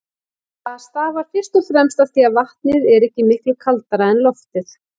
Það stafar fyrst og fremst af því að vatnið er ekki miklu kaldara en loftið.